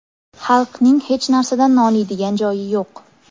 Halkning hech narsadan noliydigan joyi yo‘q.